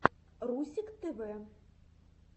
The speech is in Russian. русик тв